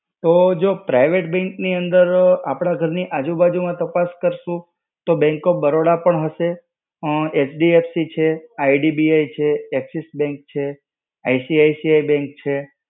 તો જો private bank ની અંદર, આપણા ઘર ની આજુ-બાજુ માં તાપસ કરશું, તો Bank of Baroda પણ હશે. ઉમમ, HDFC છે. IDBI છે. Axis Bank છે. ICICI bank છે.